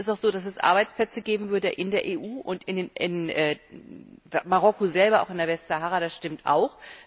Es ist auch so, dass es Arbeitsplätze geben würde in der EU und in Marokko selber, auch in der Westsahara, das stimmt auch.